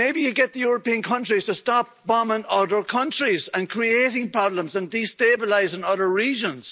Maybe you'd get the European countries to stop bombing other countries and creating problems and destabilising other regions.